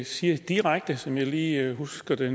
siger direkte som jeg lige husker det